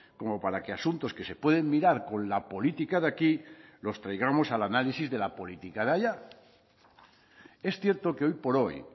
como para que asuntos que se pueden mirar con la política de aquí los traigamos al análisis de la política de allá es cierto que hoy por hoy